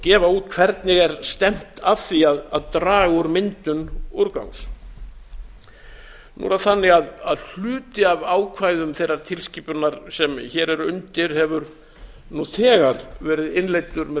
gefa út hvernig er stefnt að því að draga úr myndun úrgangs nú er það þannig að hluti af ákvæðum þeirrar tilskipunar sem hér er undir hefur nú þegar verið innleiddur með